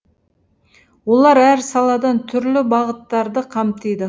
олар әр саладан түрлі бағыттарды қамтиды